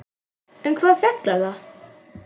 Um hvað fjallar það?